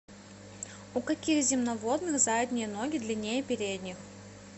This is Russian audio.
у каких земноводных задние ноги длиннее передних